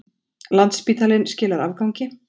Landspítalinn skilar afgangi